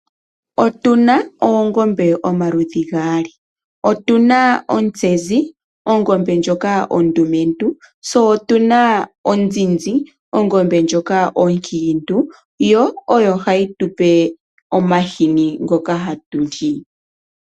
Otuna oongombe pomaludhi gali, otuna ontsezi ongombe ndjoka ondumentu tse otuna onzizi ongombe ndjoka onkitu yo oyo hayi tupe omahini ngoka hatu li.